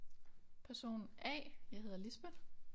Person A jeg hedder Lisbeth